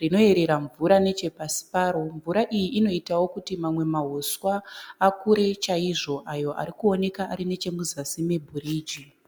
rinoyerera mvura nechepasi paro. Mvura iyi inoitawo kuti mamwe mauswa akure chaizvo ayo ari kuoneka ari muzasi mebiriji.